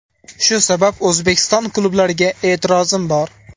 Shu sabab O‘zbekiston klublariga e’tirozim bor.